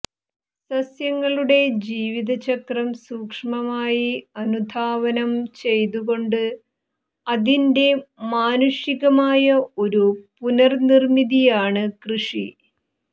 സസ്യങ്ങളുടെ ജീവിതചക്രം സൂക്ഷ്മമായി അനുധാവനം ചെയ്തുകൊണ്ട് അതിന്റെ മാനുഷികമായ ഒരു പുനർനിർമ്മിതിയാണ് കൃഷി